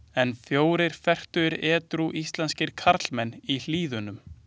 En fjórir fertugir edrú íslenskir karlmenn í Hlíðunum.